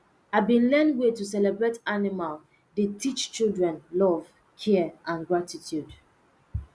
i been learn way to celebrate animal dey teach children love care and gratitude